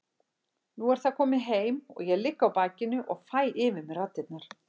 Nú er það komið heim og ég ligg á bakinu og fæ yfir mig raddirnar.